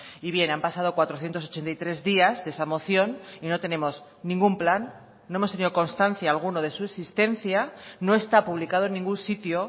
y bien han pasado cuatrocientos ochenta y tres días de esa moción y no tenemos ningún plan no hemos tenido constancia alguna de su existencia no está publicado en ningún sitio